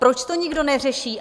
Proč to nikdo neřeší?